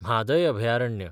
म्हादय अभयारण्य